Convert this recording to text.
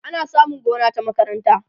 ana samun gona ta makaranta